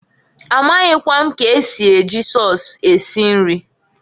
Amaghịkwa m k'esi eji sọs esi nri.